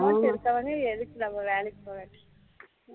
அவளோ இருக்கவனே எதுக்கு நம்ம வேலைக்கு போக